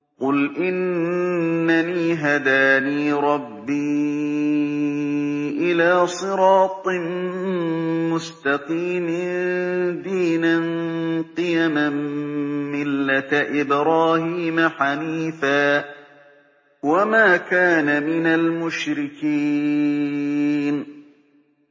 قُلْ إِنَّنِي هَدَانِي رَبِّي إِلَىٰ صِرَاطٍ مُّسْتَقِيمٍ دِينًا قِيَمًا مِّلَّةَ إِبْرَاهِيمَ حَنِيفًا ۚ وَمَا كَانَ مِنَ الْمُشْرِكِينَ